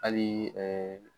Hali